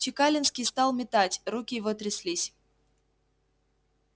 чекалинский стал метать руки его тряслись